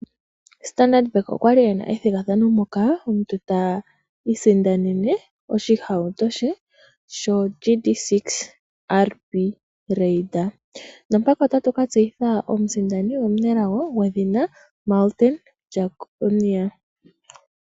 Standard bank okwali ena ethigathano moka omuntu ta isindanene oshihauto she sho GD6 RB Raider nompaka otatu katseyitha omusindani omunelago gwedhina Martin Jeckonia.